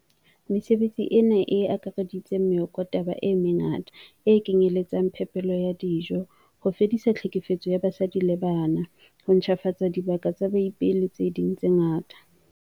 Mesebetsi ena e akaretsa meokotaba e mengata, e kenyeletsang phepelo ya dijo, ho fedisa tlhekefetso ya basadi le bana, ho ntjhafatsa dibaka tsa baipei le tse ding tse ngata.